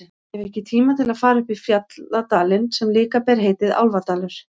Ég hef ekki tíma til að fara upp í fjalladalinn sem líka ber heitið Álfadalur.